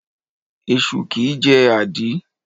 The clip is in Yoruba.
Esu kìí jẹ́ àdí.